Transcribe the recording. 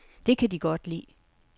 Det kan de godt lide.